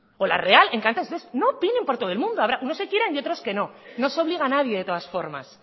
o la real encantados entonces no opinen por todo el mundo habrá unos que quieran y otros que no no se obliga a nadie de todas formas